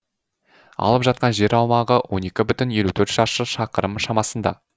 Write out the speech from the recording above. алып жатқан жер аумағы он екі бүтін елу төрт шаршы шақырым шамасында